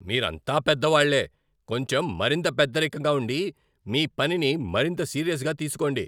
మీరంతా పెద్దవాళ్లే! కొంచెం మరింత పెద్దరికంగా ఉండి, మీ పనిని మరింత సీరియస్గా తీసుకోండి.